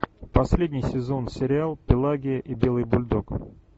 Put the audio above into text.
последний сезон сериал пелагия и белый бульдог